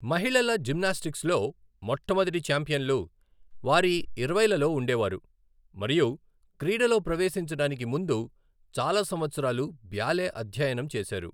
మహిళల జిమ్నాస్టిక్స్లో మొట్టమొదటి ఛాంపియన్లు వారి ఇరవైలలో ఉండేవారు, మరియు క్రీడలో ప్రవేశించడానికి ముందు చాలా సంవత్సరాలు బ్యాలె అధ్యయనం చేశారు.